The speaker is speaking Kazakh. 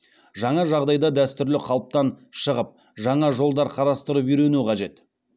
жаңа жағдайда дәстүрлі қалыптан шығып жаңа жолдар қарастырып үйрену қажет